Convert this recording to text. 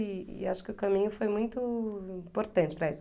E e acho que o caminho foi muito importante para isso.